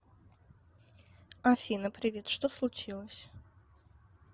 афина привет что случилось